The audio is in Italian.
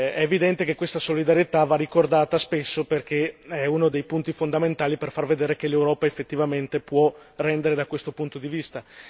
È evidente che questa solidarietà va ricordata spesso perché è uno dei punti fondamentali per far vedere che l'Europa effettivamente può rendere da questo punto di vista.